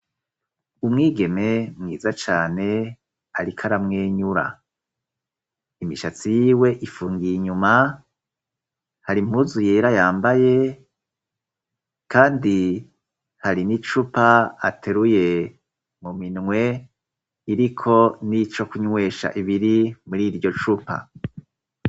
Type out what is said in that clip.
Umwigeme mwiza cane, ariko aramwenyura imishatsi yiwe ifungiye inyuma hari mpuzu yera yambaye, kandi hari n'i cupa ateruye mu minwe iriko n'ico kunywesha ibiri muri iryo cupa.